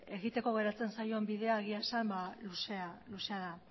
egiteko geratzen zaio bidea egia esan luzea da